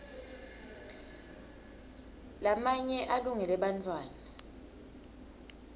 lamanye alungele bantfwana